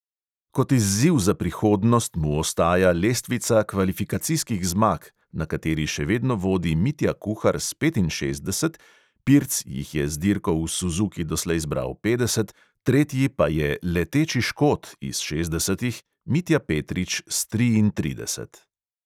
Kot izziv za prihodnost mu ostaja lestvica kvalifikacijskih zmag, na kateri še vedno vodi mitja kuhar s petinšestdeset, pirc jih je z dirko v suzuki doslej zbral petdeset, tretji pa je "leteči škot" iz šestdesetih mitja petrič s triintrideset.